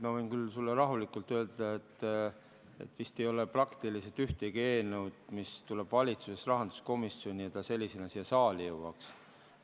Ma võin küll sulle rahulikult öelda, et vist ei ole praktiliselt ühtegi eelnõu, mis tuleb valitsusest rahanduskomisjoni ja mis sellisena siia saali jõuab.